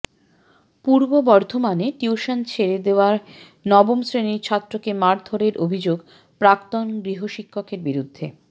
পূর্ব বর্ধমানে টিউশন ছেড়ে দেওয়ায় নবম শ্রেণির ছাত্রকে মারধরের অভিযোগ প্রাক্তন গৃহশিক্ষকের বিরুদ্ধে